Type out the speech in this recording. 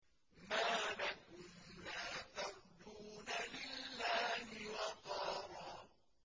مَّا لَكُمْ لَا تَرْجُونَ لِلَّهِ وَقَارًا